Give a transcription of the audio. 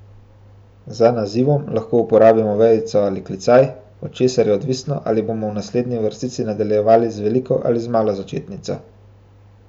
Za nazivom lahko uporabimo vejico ali klicaj, od česar je odvisno, ali bomo v naslednji vrstici nadaljevali z veliko ali z malo začetnico.